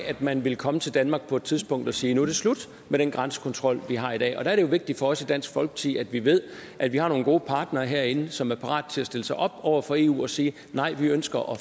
at man vil komme til danmark på et tidspunkt og sige at nu er det slut med den grænsekontrol vi har i dag der er det jo vigtigt for os i dansk folkeparti at vi ved at vi har nogle gode partnere herinde som er parat til at stille sig op over for eu og sige nej vi ønsker at